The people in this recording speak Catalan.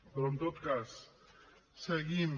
però en tot cas seguim